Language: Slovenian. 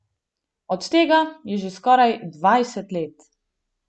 Od tega je že skoraj dvajset let.